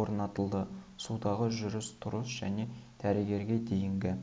орнатылды судағы жүріс-тұрыс және дәрігерге дейінгі